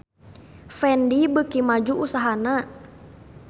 Fendi beuki maju usahana